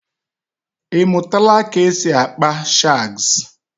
Ịmụtala ka e si akpa shagz?